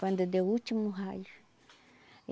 Quando deu o último raio.